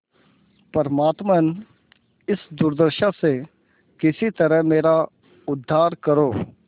परमात्मन इस दुर्दशा से किसी तरह मेरा उद्धार करो